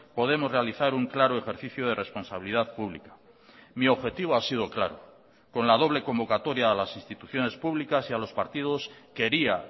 podemos realizar un claro ejercicio de responsabilidad pública mi objetivo ha sido claro con la doble convocatoria a las instituciones públicas y a los partidos quería